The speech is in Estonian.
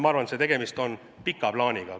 Ma arvan, et tegemist on pika plaaniga.